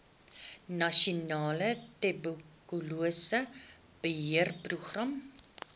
nasionale tuberkulose beheerprogram